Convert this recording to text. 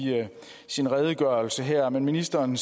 sin redegørelse her ministeren